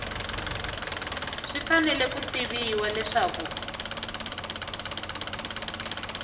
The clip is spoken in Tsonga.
swi fanele ku tiviwa leswaku